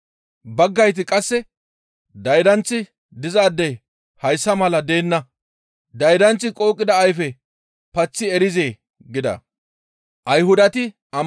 Baggayti qasse, «Daydanththi dizaadey hayssa mala deenna; daydanththi qooqida ayfe paththi erizee?» gida.